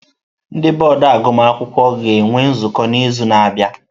Ndị bọọdụ agụmakwụkwọ ga-enwe nzukọ n'izu na-abịa.